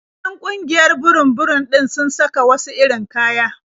Duk 'yan ƙungiyar burum-burum ɗin sun saka wasu irin kaya.